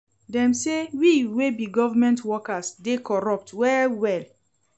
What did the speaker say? Dem sey we wey be government workers dey corrupt well-well.